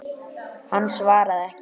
Hann svaraði ekki.